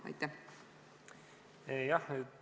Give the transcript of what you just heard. Tänan küsimuse eest!